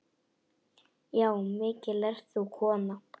Já, mikil ert þú kona.